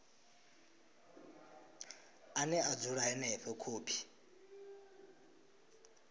ane a dzula henefho khophi